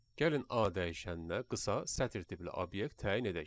Gəlin A dəyişəninə qısa sətr tipli obyekt təyin edək.